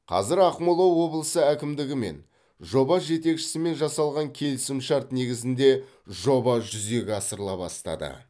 қазір ақмола облысы әкімдігі мен жоба жетекшісімен жасалған келісімшарт негізінде жоба жүзеге асырыла бастады